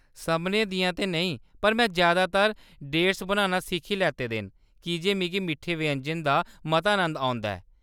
सभनें दियां ते नेईं, पर में जैदातर डेसर्ट बनाना सिक्खी लैते दे न , कीजे मिगी मिट्ठे व्यंजनें दा मता नंद औंदा ऐ।